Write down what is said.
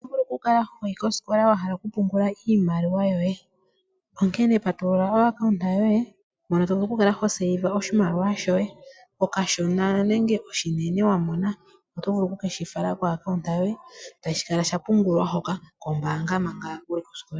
Oto vulu oku kala hoyi kosikola owahala oku pungula iimaliwa yoye. Patulula o kambo koye hono vulu oku kala hopungula oshimaliwa shoye oshishona nenge oshinene. Oto vulu oku shi fala ko kambo yoye etashi kala shapungulwa kombaanga.